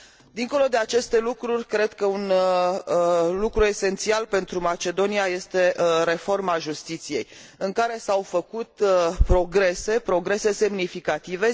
Dincolo de aceste lucruri, cred că un lucru esențial pentru Macedonia este reforma justiției, în care s au făcut progrese, progrese semnificative.